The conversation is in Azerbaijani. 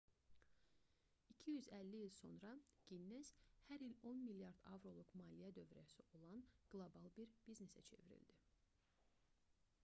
250 il sonra ginnes hər il 10 milyard avroluq $14,7 milyard abş dolları maliyyə dövrəsi olan qlobal bir biznesə çevrildi